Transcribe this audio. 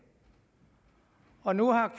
og nu har